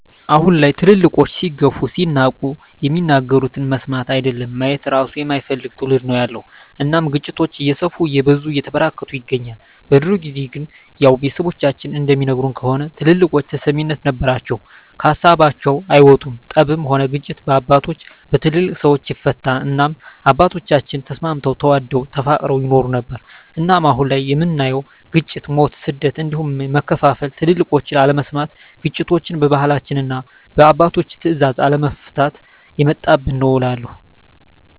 አሁን ላይ ትልልቆች ሲገፉ ሲናቁ የሚናገሩትን መስማት አይደለም ማየት እራሱ የማይፈልግ ትዉልድ ነዉ ያለዉ እናም ግጭቶች እየሰፉ እየበዙ እየተበራከቱ ይገኛል። በድሮ ጊዜ ግን ያዉ ቤተሰቦቻችን እንደሚነግሩን ከሆነ ትልልቆች ተሰሚነት ነበራቸዉ ከሀሳባቸዉ አይወጡም ጠብም ሆነ ግጭት በአባቶች(በትልልቅ ሰወች) ይፈታል እናም አባቶቻችን ተስማምተዉ ተዋደዉ ተፋቅረዉ ይኖሩ ነበር። እናም አሁን ላይ የምናየዉ ግጭ፣ ሞት፣ ስደት እንዲሁም መከፋፋል ትልቆችን አለመስማት ግጭቶችችን በባህላችንና እና በአባቶች ትእዛዝ አለመፍታት የመጣብን ነዉ እላለሁ።